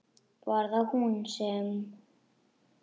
Var það hún sem.?